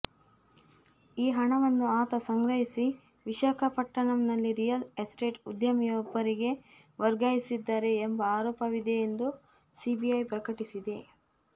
ಈ ಹಣವನ್ನು ಆತ ಸಂಗ್ರಹಿಸಿ ವಿಶಾಖಪಟ್ಟಣಂನಲ್ಲಿ ರಿಯಲ್ ಎಸ್ಟೇಟ್ ಉದ್ಯಮಿಯೊಬ್ಬರಿಗೆ ವರ್ಗಾಯಿಸಿದ್ದಾರೆ ಎಂಬ ಆರೋಪವಿದೆ ಎಂದು ಸಿಬಿಐ ಪ್ರಕಟಿಸಿದೆ